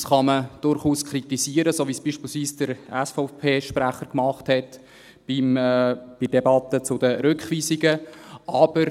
Das kann man durchaus kritisieren, so wie es beispielsweise der SVP-Sprecher bei der Debatte zu den Rückweisungen gemacht hat.